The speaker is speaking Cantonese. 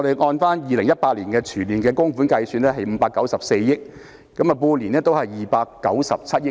按照2018年全年供款計算，合共594億元，即半年297億元。